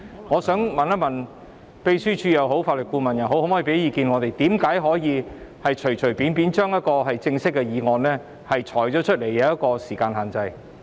我想問一問，可否請秘書處或法律顧問向我們提供意見，告訴我們為甚麼可以隨隨便便地對一項正式的議案施加時間限制？